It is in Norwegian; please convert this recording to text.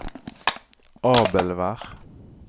Abelvær